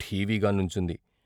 ఠీవిగా నుంచుంది.